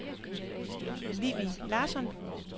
Vivi Larsson